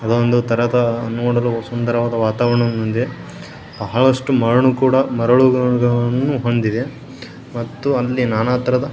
ಇದೊಂದು ತರದ ನೋಡದ ಸುಂದರವಾದ ವಾತಾವರಣ ಬಹಳಷ್ಟು ಮರಳು ಕೂಡ ಮರಳುಗಳನ್ನು ಹೊಂದಿದೆ